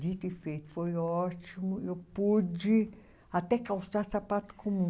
Dito e feito, foi ótimo, eu pude até calçar sapato comum.